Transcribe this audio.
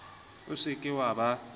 o se ke wa ba